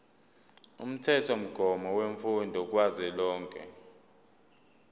umthethomgomo wemfundo kazwelonke